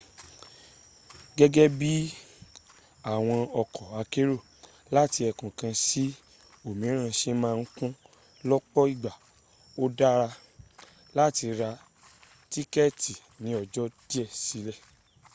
gẹ́gẹ́ bí àwọn ọkọ̀ akérò làti ẹkùn kan sí òmíràn se ma ń kún lọ́pọ́ ìgbà ó dárá láti ra tíkẹ̀ẹ̀tì ní ọjọ́ díẹ̀ sílẹ̀